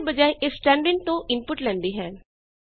ਇਸਦੇ ਬਜਾਏ ਇਹ ਸਟੈਂਡਰਡਿਨ ਤੋਂ ਇਨਪੁਟ ਲੈਂਦੀ ਹੈ